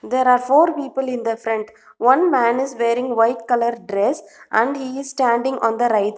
There are four people in the front one man is wearing white colour dress and he is standing on the right --